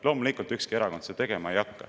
Loomulikult ei hakka ükski erakond seda tegema.